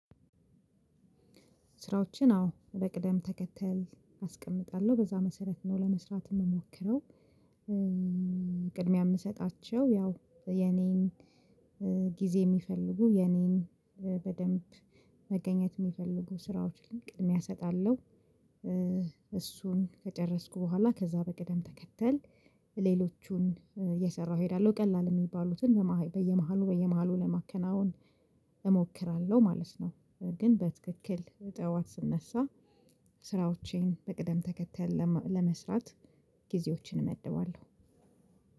ስራዎችን አዎ በቅደም ተከተል አስቀምጣለሁ በዛ መሰረት ነው ለመስራት ምሞክረው። ቅድሚያ ምሰጣቸው ያው የኔን ጊዜ ሚፈልጉ የኔን በደንብ መገኘት ሚፈልጉ ስራዎችን ቅድሚያ ሰጣለሁ። እሱን ከጨረስኩ በኋላ ከዛ በቅደም ተከተል ሌሎቹን እየሰራሁ እሄዳለሁ ቃላል የሚባሉትን በየመሃሉ በየመሃሉ ለማከናወን እሞክራለሁ ማለት ነው። ግን በትክክል ጥዋት ስነሳ ስራዎቼን በቅደም ተከተል ለመስራት ጊዜዎችን እመድበዋለሁ።